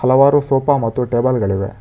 ಹಲವಾರು ಸೋಫಾ ಮತ್ತು ಟೇಬಲ್ ಗಳಿವೆ.